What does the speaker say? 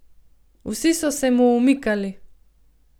Vsi so se mu umikali.